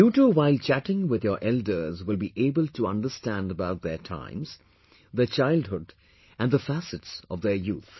You too while chattingwith your elders will be able to understand about their times, their childhood and the facets of their youth